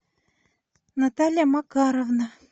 наталья макаровна